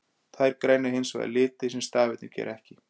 Þær greina hins vegar liti, sem stafirnir gera ekki.